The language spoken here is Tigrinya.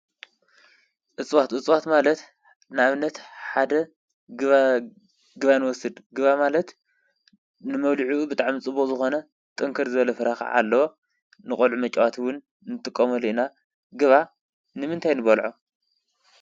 እፅዋት፣ እጽዋት ማለት ንኣብነት ሓደ ገባ ንወስድ፣ ገባ ማለት ንመብሊዑኡ ብጣዕሚ ፅቡቅ ዝኾነ ጥንክር ዝበለ ፍረኻ ኣለወ። ንቖልዑ መጭዋት እዉን እንጥቆመሉ ኢና። ገባ ንምንታይ ንበልዖ?